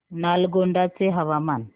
नालगोंडा चे हवामान